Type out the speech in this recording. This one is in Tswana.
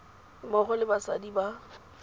mmogo le basadi ba ba